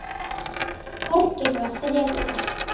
Já, Þorgeir var frekur.